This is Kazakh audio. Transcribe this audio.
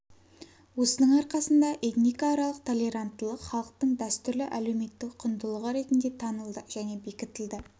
осының арқасында этникааралық толеранттылық халықтың дәстүрлі әлеуметтік құндылығы ретінде танылды және бекітілді